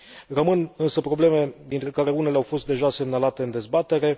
Rămân însă probleme, dintre care unele au fost deja semnalate în dezbatere.